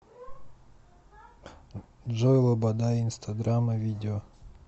джой лобода инстадрама видео